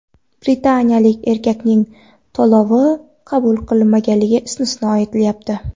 Britaniyalik erkakning to‘lovi qabul qilinmaganligi istisno etilmayapti.